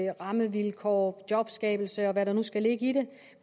rammevilkår jobskabelse og hvad der nu skal ligge i det